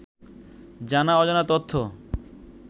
জানা অজানা তথ্য